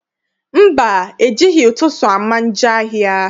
Mba, ejighị ụtụtụ ama njọ ahịa.